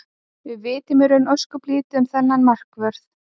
Við vitum í raun ósköp lítið um þennan markvörð.